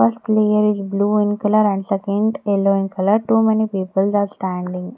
First layer is blue in colour and second yellow in colour too many people are standing.